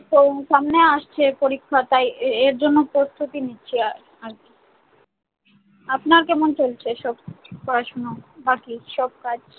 তো সামনে আসছে পরীক্ষা তাই এ~ এর জন্যে প্রস্তুতি নিচ্ছি আর আর কি। আপনার কেমন চলছে সব পড়াশোনা, বাকি সব কাজ?